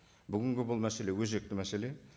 бүгінгі бұл мәселе өзекті мәселе